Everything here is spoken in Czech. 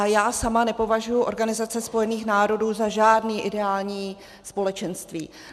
A já sama nepovažuji Organizaci spojených národů za žádné ideální společenství.